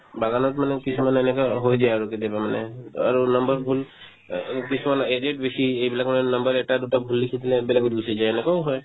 বাগানত মানে কিছুমানে এনেকুৱা হৈ দিয়ে আৰু কেতিয়াবা মানে আৰু number ভূল অ কিছুমানত eight eight বেছি এইবিলাকৰে number এটা দুটা ভূল লিখি পেলাই বেলেগত গুচি যায় এনেকুৱাও হয়